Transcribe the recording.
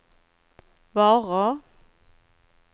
varor